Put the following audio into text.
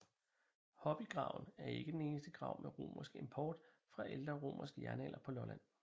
Hobygraven er ikke den eneste grav med romersk import fra ældre romersk jernalder på Lolland